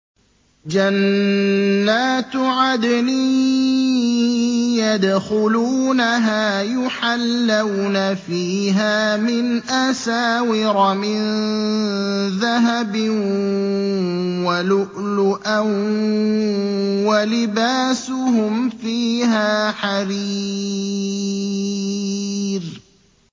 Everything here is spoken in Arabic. جَنَّاتُ عَدْنٍ يَدْخُلُونَهَا يُحَلَّوْنَ فِيهَا مِنْ أَسَاوِرَ مِن ذَهَبٍ وَلُؤْلُؤًا ۖ وَلِبَاسُهُمْ فِيهَا حَرِيرٌ